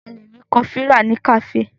A lè rí kọfí rà ní kàféè.